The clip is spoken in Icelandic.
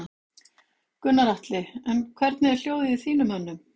Gunnar Atli: En hvernig er hljóðið í þínum mönnum?